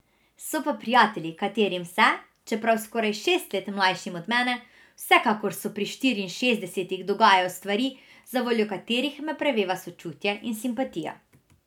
So pa prijatelji, katerim se, čeprav skoraj šest let mlajšim od mene, vsekakor so pri štiriinšestdesetih, dogajajo stvari, zavoljo katerih me preveva sočutje in simpatija.